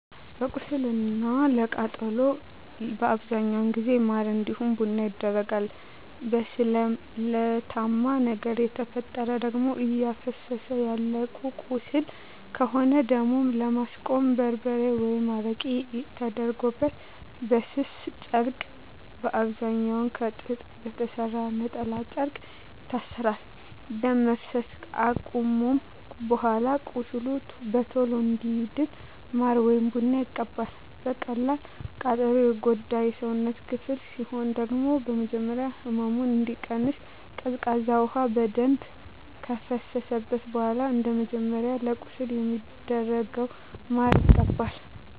ለቁስል እና ለቃጠሎ በአብዛኛው ጊዜ ማር እንዲሁም ቡና ይደረጋል። በስለታማ ነገር የተፈጠረ ደም እፈሰሰ ያለው ቁስል ከሆነ ደሙን ለማስቆም በርበሬ ወይም አረቄ ተደርጎበት በስስ ጨርቅ በአብዛኛዉ ከጥጥ በተሰራ የነጠላ ጨርቅ ይታሰራል። ደም መፍሰስ አከቆመም በኃላ ቁስሉ በቶሎ እንዲድን ማር ወይም ቡና ይቀባል። በቀላል ቃጠሎ የጎዳ የሰውነት ክፍል ሲኖር ደግሞ በመጀመሪያ ህመሙ እንዲቀንስ ቀዝቃዛ ውሃ በደንብ ከፈሰሰበት በኃላ እንደመጀመሪያው ለቁስል እንደሚደረገው ማር ይቀባል።